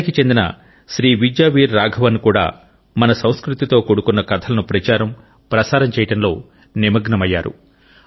చెన్నైకి చెందిన శ్రీ విద్యా వీర్ రాఘవన్ కూడా మన సంస్కృతితో కూడుకొన్న కథలను ప్రచారము ప్రసారము చేయుటలో నిమగ్నమయ్యారు